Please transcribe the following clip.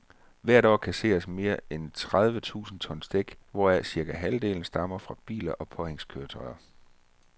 Hvert år kasseres mere end tredive tusind tons dæk, hvoraf cirka halvdelen stammer fra biler og påhængskøretøjer.